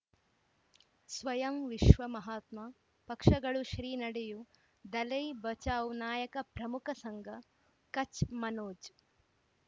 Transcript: ಸ್ವಯಂ ವಿಶ್ವ ಮಹಾತ್ಮ ಪಕ್ಷಗಳು ಶ್ರೀ ನಡೆಯೂ ದಲೈ ಬಚೌ ನಾಯಕ ಪ್ರಮುಖ ಸಂಘ ಕಚ್ ಮನೋಜ್